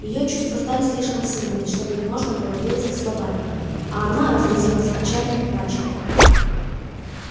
её чувства стали слишком сильными чтобы их можно было выразить словами а она разразилась отчаянным плачем